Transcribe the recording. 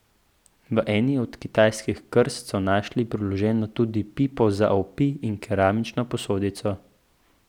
V eni od kitajskih krst so našli priloženo tudi pipo za opij in keramično posodico.